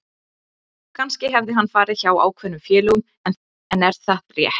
Kannski hefði hann farið hjá ákveðnum félögum en er það rétt?